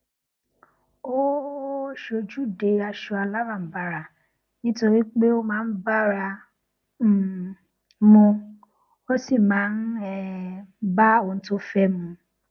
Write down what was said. ó ó sojude aṣọ alaranbara nítorí pé ó máa ń bára um mu ó sì máa ń um bá ohun tó fé mu